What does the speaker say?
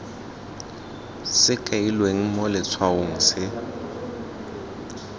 se kailweng mo letshwaong se